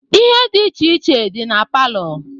Ihe dị iche iche dị na palọ